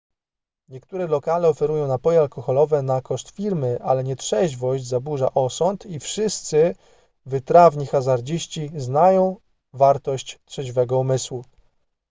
niektóre lokale oferują napoje alkoholowe na koszt firmy ale nietrzeźwość zaburza osąd i wszyscy wytrawni hazardziści znają wartość trzeźwego umysłu